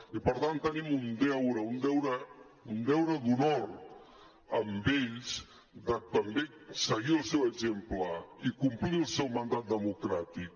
i per tant tenim un deure un deure d’honor amb ells de també seguir el seu exemple i complir el seu mandat democràtic